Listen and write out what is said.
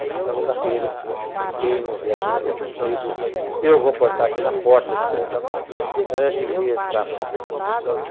Na segunda-feira, quem vier com o cabelo comprido, eu vou cortar aqui na porta da escola, antes de entrar para a escola.